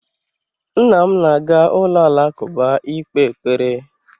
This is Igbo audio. Nna m na-aga ụlọ alakụba ikpe ekpere